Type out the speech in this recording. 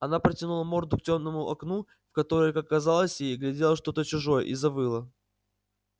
она протянула морду к тёмному окну в которое как казалось ей глядел что-то чужой и завыла